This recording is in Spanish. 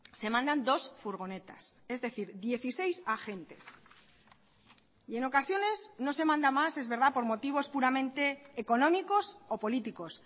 se mandan dos furgonetas es decir dieciséis agentes y en ocasiones no se manda más es verdad por motivos puramente económicos o políticos